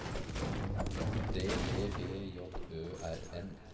O D D B J Ø R N